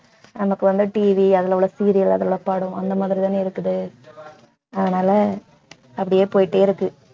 நமக்கு வந்து TV அதுல உள்ள serial அதெல்லாம் படம் அந்த மாதிரி தானே இருக்குது அதனால அப்படியே போயிட்டே இருக்கு.